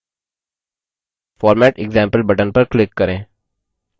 format example button पर click करें